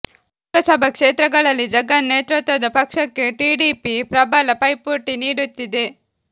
ಲೋಕಸಭಾ ಕ್ಷೇತ್ರಗಳಲ್ಲಿ ಜಗನ್ ನೇತೃತ್ವದ ಪಕ್ಷಕ್ಕೆ ಟಿಡಿಪಿ ಪ್ರಬಲ ಪೈಪೋಟಿ ನೀಡುತ್ತಿದೆ